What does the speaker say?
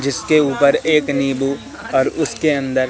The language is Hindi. जिसके ऊपर एक नींबू और उसके अंदर--